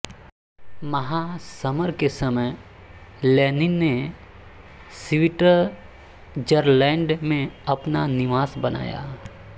महासमर के समय लेनिन ने स्विटजरलैंड में अपना निवास बनाया